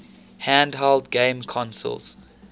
handheld game consoles